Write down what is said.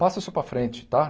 Passa isso para frente, tá?